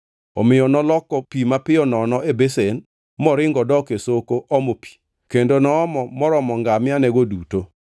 Omiyo noloko pi mapiyo nono e besen, moringo odok e soko omo pi kendo noomo moromo ngamiagego duto.